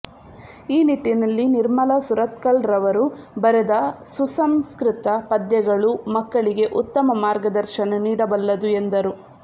ಈ ನಿಟ್ಟಿನಲ್ಲಿ ನಿರ್ಮಲಾ ಸುರತ್ಕಲ್ರವರು ಬರೆದ ಸುಸಂಸ್ಕೃತ ಪದ್ಯಗಳು ಮಕ್ಕಳಿಗೆ ಉತ್ತಮ ಮಾರ್ಗದರ್ಶನ ನೀಡಬಲ್ಲದು ಎಂದರು